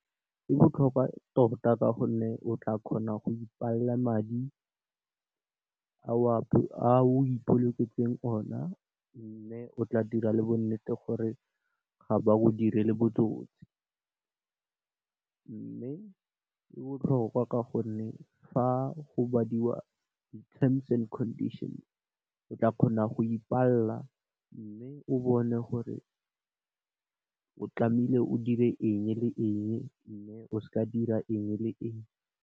E botlhokwa tota ka gonne o tla kgona go ipalla madi a o ipoloketseng ona mme, o tla dira le bonnete gore ga ba go direle botsotsi. Mme, e botlhokwa ka gonne fa go badiwa di terms and conditions, o tla kgona go ipalla mme o bone gore o tlamehile o dire eng le eng mme, o seka dira eng le eng.